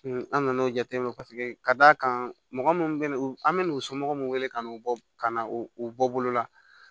an nan'o jateminɛ paseke ka d'a kan mɔgɔ munnu bɛ na an bɛ n'u somɔgɔw wele ka n'u bɔ ka na o u bɔ bolo la